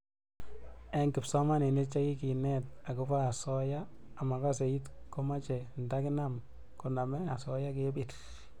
Eng' kipsomanik che kikenet akoba asoya ama kasee it ko mache nda kinam koname asoya ke bir